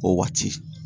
O waati